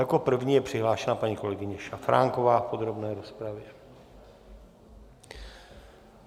Jako první je přihlášená paní kolegyně Šafránková v podrobné rozpravě.